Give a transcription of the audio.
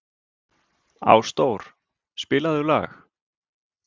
Ásdór, spilaðu lag.